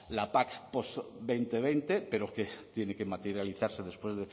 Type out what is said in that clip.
la pac dos mil veinte pero que tiene que materializarse después